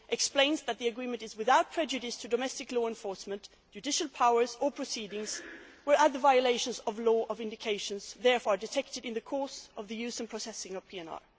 4 explains that the agreement is without prejudice to domestic law enforcement, judicial powers or proceedings, where other violations of the law of indications are therefore detected in the course of the use and processing of PNR.